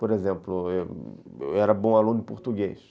Por exemplo, eu era bom aluno em português.